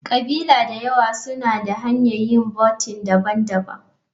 ƙabila da yawa suna da hanyar yin vounting daban-daban.